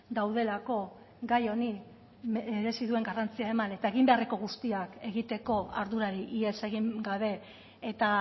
daudelako gai honi merezi duen garrantzia eman eta egin beharreko guztiak egiteko ardurari ihes egin gabe eta